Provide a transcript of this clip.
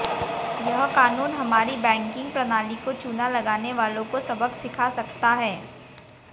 यह कानून हमारी बैंकिंग प्रणाली को चूना लगाने वालों को सबक सिखा सकता है